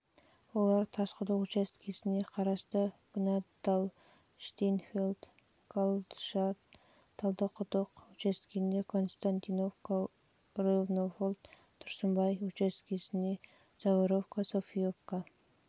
олар тасқұдық учаскесіне қарасты гнаденталь штейнфельд және гальбшадт талдықұдық учаскесіне константиновка ровнополье тұрсынбай учаскесіне заборовка софиевка